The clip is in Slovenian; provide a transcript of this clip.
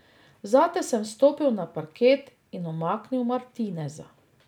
Zate sem stopil na parket in umaknil Martineza.